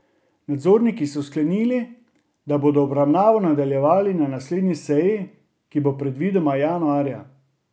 Nadzorniki so sklenili, da bodo obravnavo nadaljevali na naslednji seji, ki bo predvidoma januarja.